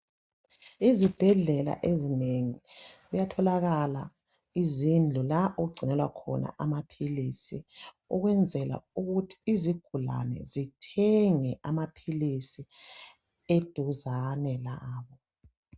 Izibhedlela ezinengi kuyatholakala izindlu la okugcinelwa khona amaphilisi ukwenzela ukuthi izigulani zithenge amaphilisi eduzane labo